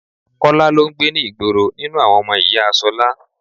Kọ́lá lọ ń gbé ní ìgboro nínú àwọn ọmọ ìyá Ṣọlá.